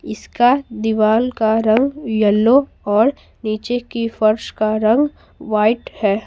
इसकादीवाल का रंग येलो और नीचे की फर्श का रंग वाइट है।